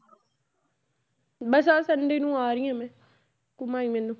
ਬਸ ਆਹ sunday ਨੂੰ ਆ ਰਹੀ ਹਾਂ ਮੈਂ ਘੁੰਮਾਈ ਮੈਨੂੰ।